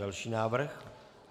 Další návrh.